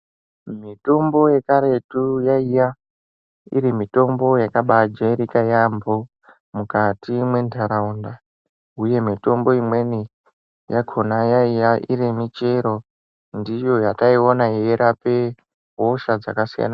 Mitombo ye karetu yaiya iri mitombo yakabai jairika yambo mukati me ntaraunda uye mitombo imweni yakona yaiya iri michero ndiyo yataiona ichi rapa hosha dzaka siyana siyana.